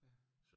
Ja